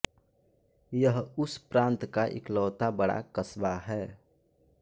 यह उस प्रान्त का इकलौता बड़ा क़स्बा है